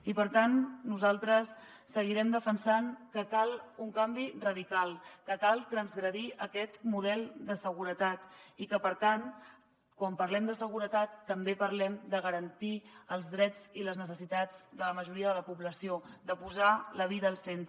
i per tant nosaltres seguirem defensant que cal un canvi radical que cal transgredir aquest model de seguretat i que per tant quan parlem de seguretat també parlem de garantir els drets i les necessitats de la majoria de la població de posar la vida al centre